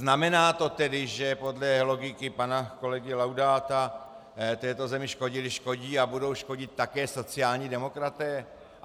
Znamená to tedy, že podle logiky pana kolegy Laudáta této zemi škodili, škodí a budou škodit také sociální demokraté?